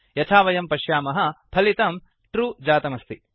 यथा वयं पश्यामः फलितं ट्रू जातमस्ति